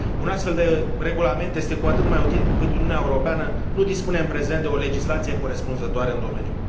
Un astfel de regulament este cu atât mai util, cu cât Uniunea Europeană nu dispune în prezent de o legislație corespunzătoare în domeniu.